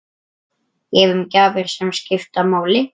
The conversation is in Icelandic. Gefum gjafir sem skipta máli.